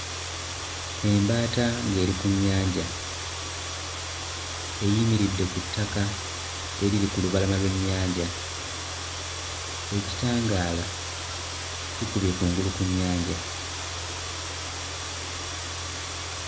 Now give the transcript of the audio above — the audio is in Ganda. Embaata ng'eri ku nnyanja eyimiridde ku ttaka eriri ku lubalama lw'ennyanja ekitangaala kikubye kungulu ku nnyanja.